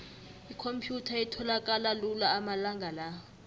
ikhomphyutha itholakala lula amalanga la